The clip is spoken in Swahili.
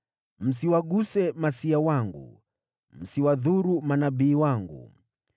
“Msiwaguse niliowatia mafuta; msiwadhuru manabii wangu.”